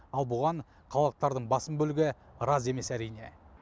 ал бұған қалалықтардың басым бөлігі разы емес әрине